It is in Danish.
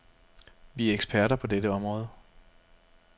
Vi er eksperter på dette område.